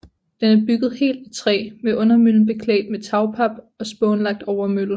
Den er bygget helt af træ med undermøllen beklædt med tagpap og spånlagt overmølle